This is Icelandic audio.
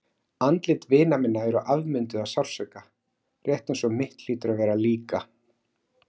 Andlit vina minna eru afmynduð af sársauka, rétt eins og mitt hlýtur að vera líka.